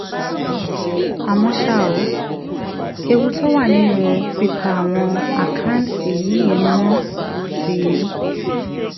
àmọ́ ṣá um ewu tó wà nínú pípa àwọn àkáǹtì yìí mọ́ ti